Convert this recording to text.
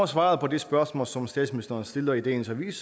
svaret på det spørgsmål som statsministeren stiller i dagens avis